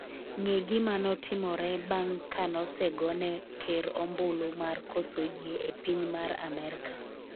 ng'e gima notimore bang' kanosegone ker ombulu mar koso yie e piny mar Amerka